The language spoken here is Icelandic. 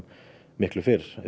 miklu fyrr